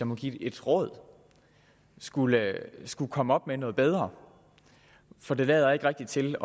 må give et råd skulle skulle komme op med noget bedre for det lader ikke rigtig til